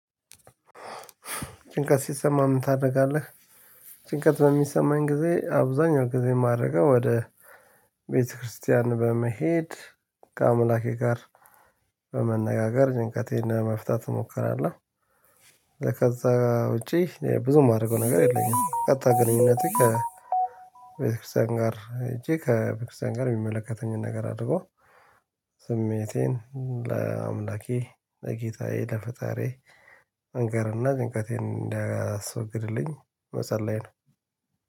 ጭንቀት ሲሰማህ ምን ታደርጋለህ? ጭንቀት በሚሰማኝ ጊዜ አብዛኛው ጊዜ ማደርገው ወደ ቤተክርስቲያን በመሄድ ከአምላኬ ጋር በመነጋገር ጭንቀቴን ለመፍታት እሞክራለሁ። ከዛ ውጪ ብዙ የማደርገው ነገር የለኝም። ቀጥታ ግንኙነቴ ከቤተክርስቲያን ጋር ሄጄ ከቤተክርስቲያን ጋር የሚመለከተኝን ነገር አድርጎ ስሜቴን ለአምላኬ ለጌታዬ ለፈጣሪዬ መንገርና ጭንቀቴን እንዲያስወግድልኝ መጸለይ ነው።